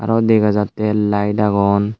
aro dega jattey layet agon.